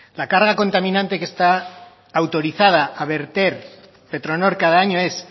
la carga contaminante que está autorizada a verter petronor cada año es